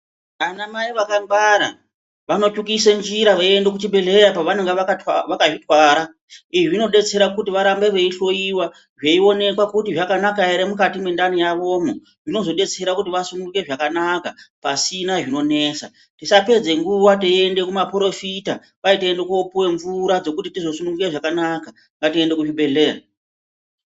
Ana mai vakangwara, vanotsvukise njira veiende kuchibhedhleya pavanenge vakazvitwara, izvi zvinodetsera kuti varambe veihloyiwa, veionekwa kuti zvakanaka ere mukati mendani yavomo zvinozodetsera kuti vasununguke zvakanaka pasina zvinonesa. Tisapedze nguwa teiende kumaporofita, kwai toenda koopuwa mvura dzekuti tizosununguka zvakanaka, ngatiende kuzvibhedhleya.